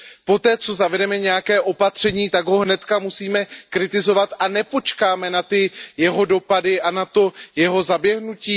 Poté, co zavedeme nějaké opatření, tak ho hned musíme kritizovat a nepočkáme na jeho dopady a na jeho zaběhnutí.